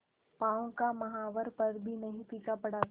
पांव का महावर पर भी नहीं फीका पड़ा था